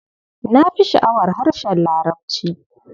Na fi sha'awar harshen Larabci.